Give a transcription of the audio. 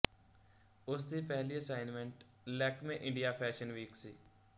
ਉਸ ਦੀ ਪਹਿਲੀ assignment Lakme India fashion week ਸੀ